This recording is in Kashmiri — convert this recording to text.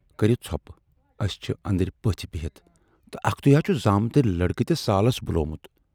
کرو ژھۅپہٕ، اَسہِ چھِ ٲندرٕ پٔژھۍ بِہِتھ تہٕ اکھتُے ہا چھُ زامٕترۍ لڑکہٕ تہِ سالس بُلوومُت۔